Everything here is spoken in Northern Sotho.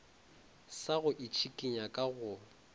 sa go itšhikinya ka go